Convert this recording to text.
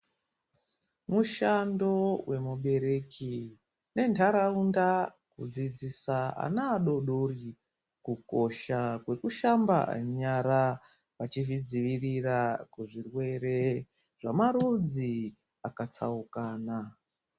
Mushando wemubereki nentaraunda kudzidzisa ana adoodori kukosha kwekushamba nyara vachizvidzivirira kuzvirwere zvemarudzi akatsaukana.